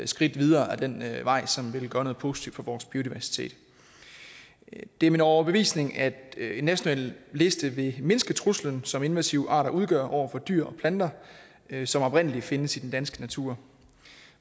skridt videre ad den vej som vil gøre noget positivt for vores biodiversitet det er min overbevisning at en national liste vil mindske den trussel som invasive arter udgør over for dyr og planter som oprindelig findes i den danske natur